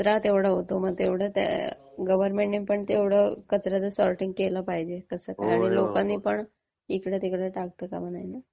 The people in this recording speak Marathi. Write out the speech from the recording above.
त्यात कचरा तेवढा होतो मग तेवढं गव्हर्नमेंटने पण कचर् याचं सोर्टिंग केलं पाहिजे आणि लोकांनी पण इकडे तिकडे टाकता कामा नये.